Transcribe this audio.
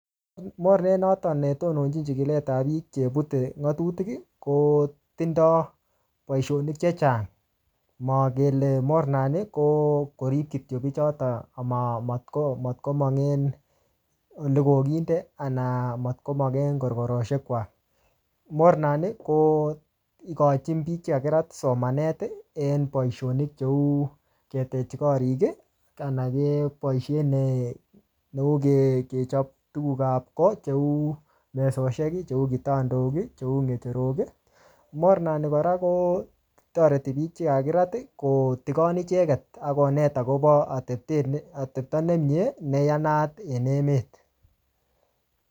Mornet notok ne tononchin chikilet ap biik chebute ng'atutik, kotindoi boisonik chechang. Makele mornani ko korip kityo bichitok amatko-matkomong en ole ko kiite, anan matkomong en korokoroshek kwak. Mornani ko ikochin biik che kakirat somanet en boisonik cheu ketej korik, anan keboisien neu ke-kechap tuguk ap kot, cheu mesoshek, cheu kitandok, cheu ngecherok. Mornani kora, kotoreti biik che kakirat kotigon icheket akonet akobo atepte ne atepto ne mie, ne yanat en emet.